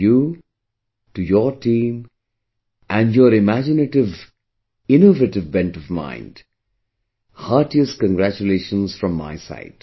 And to your team, and your imaginative, innovative bent of mind, heartiest congratulations from my side